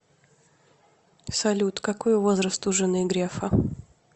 салют какой возраст у жены грефа